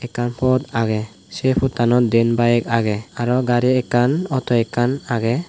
ekkan pot agey se pottanot diyen bayek agey aro gari ekkan auto ekkan agey.